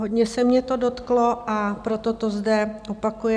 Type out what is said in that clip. Hodně se mě to dotklo, a proto to zde opakuji.